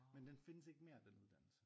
Men den findes ikke mere den uddannelse